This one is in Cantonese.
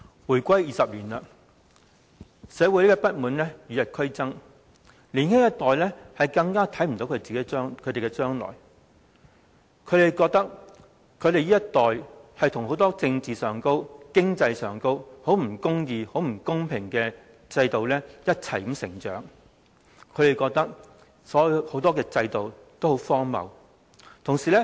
回歸20年，社會不滿與日俱增，年輕一代更看不到將來，他們覺得這一代與很多政治和經濟上的不公義及不公平的制度一同成長，亦認為很多制度都很荒謬。